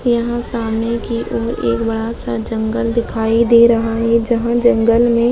यह सामने की और एक बडा सा जंगल दिखाई दे रहा है जहा जंगल मे--